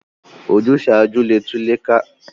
Ojúsàájú le tú ilé ká